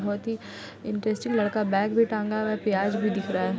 बोहत ही इंट्रेस्टेड लड़का बैग भी टांगा हुआ है प्याज भी दिख रहा है।